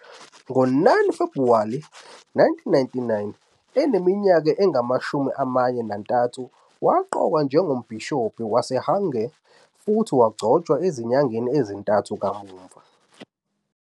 Ngo-9 Febhuwari 1999, eneminyaka engamashumi amane nantathu, waqokwa njengoMbhishobhi waseHwange futhi wagcotshwa ezinyangeni ezintathu kamuva.